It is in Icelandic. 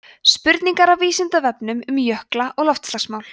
spurningar af vísindavefnum um jökla og loftslagsmál